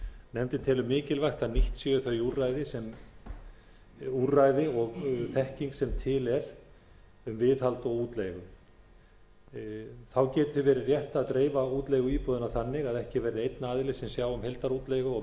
nefndin telur mikilvægt að nýtt séu þau úrræði og þekking sem til er um viðhald og útleigu þá geti verið rétt að dreifa útleigu íbúða þannig að ekki verði einn aðili sem sjái um heildarútleigu og